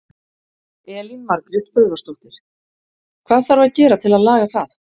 Elín Margrét Böðvarsdóttir: Hvað þarf að gera til að laga það?